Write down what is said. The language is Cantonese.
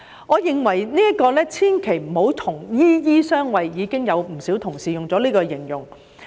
我認為千萬不要說"醫醫相衞"，不少同事亦有這樣形容。